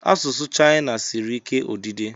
Asụsụ Chayina siri ike odide.